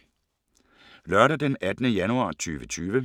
Lørdag d. 18. januar 2020